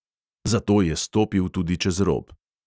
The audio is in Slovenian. Zato je stopil tudi čez rob.